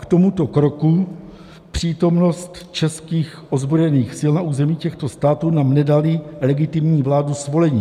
K tomuto kroku, přítomnosti českých ozbrojených sil na území těchto států, nám nedaly legitimní vlády svolení.